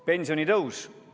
Pensionitõus.